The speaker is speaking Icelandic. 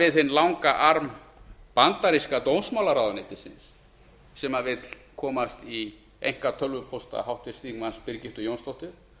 við hinn langa arm bandaríska dómsmálaráðuneytisins sem vill komast í einkatölvupósta háttvirtum þingmanni birgittu jónsdóttur